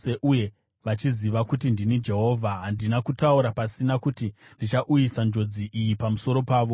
Uye vachaziva kuti ndini Jehovha; handina kutaura pasina kuti ndichauyisa njodzi iyi pamusoro pavo.